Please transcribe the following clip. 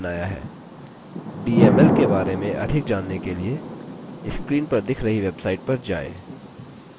dml के बारे में अधिक जानने के लिए screen पर दिख रही website पर जाएँ